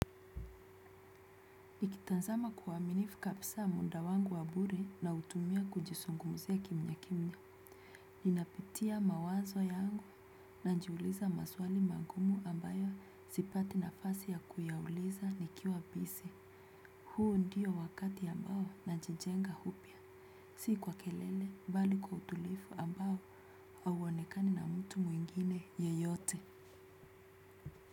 Nikitazama kwa uaminifu kabisa muda wangu wabure nautumia kujizungumzia kimya kimya. Ninapitia mawazo yangu najiuliza maswali magumu ambayo sipati nafasi ya kuyauliza nikiwa bisi. Huu ndio wakati ambao najijenga upya. Si kwa kelele bali kwa utulivu ambao hauonekani na mtu mwengine yeyote.